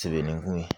Sɛbɛnni ko